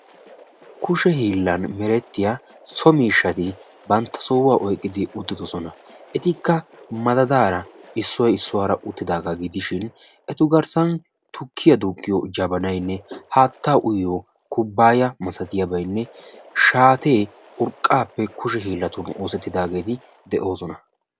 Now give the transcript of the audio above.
kushe hiilan merettiya so miishshati bantta sohuwa oyqqidi uttidosona. etikka madadaara issoy issuwara uttidaagaa gidishin etu garssan tukiya duuqiyo jabanaynne haattaa uyyiyo kubaaya malattiyaabaynne shaatee urqqaappe kushe hiilatun oosettidaagee beetoosona.